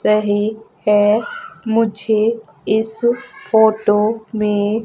रहे है मुझे इस फोटो में--